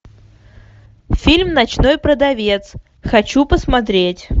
фильм ночной продавец хочу посмотреть